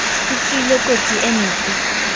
o tswile kotsi e mpe